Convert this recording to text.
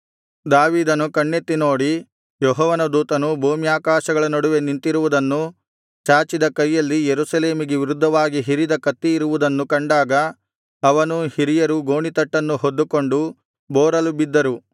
ದಾವೀದನು ಕಣ್ಣೆತ್ತಿ ನೋಡಿ ಯೆಹೋವನ ದೂತನು ಭೂಮ್ಯಾಕಾಶಗಳ ನಡುವೆ ನಿಂತಿರುವುದನ್ನೂ ಚಾಚಿದ ಕೈಯಲ್ಲಿ ಯೆರೂಸಲೇಮಿಗೆ ವಿರುದ್ಧವಾಗಿ ಹಿರಿದ ಕತ್ತಿಯಿರುವುದನ್ನೂ ಕಂಡಾಗ ಅವನೂ ಹಿರಿಯರೂ ಗೋಣಿತಟ್ಟನ್ನು ಹೊದ್ದುಕೊಂಡು ಬೋರಲು ಬಿದ್ದರು